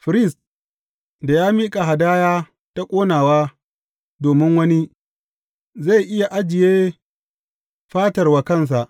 Firist da ya miƙa hadaya ta ƙonawa domin wani, zai iya ajiye fatar wa kansa.